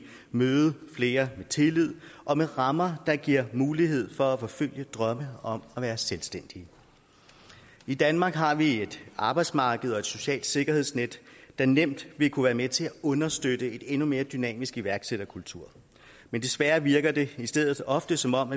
møde flere med tillid og med rammer der giver mulighed for at forfølge drømme om at være selvstændige i danmark har vi et arbejdsmarked og et socialt sikkerhedsnet der nemt vil kunne være med til at understøtte en endnu mere dynamisk iværksætterkultur men desværre virker det i stedet ofte som om